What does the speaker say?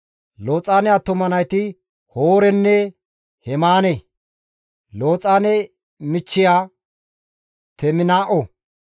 Looxaane attuma nayti Hoorenne Hemaane; Looxaane michchiya Teminaa7o.